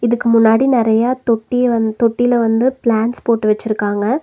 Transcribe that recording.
இதுக்கு முன்னாடி நெறையா தொட்டிய வந்து தொட்டில வந்து பிளான்ட்ஸ் போட்டு வச்சிருக்காங்க.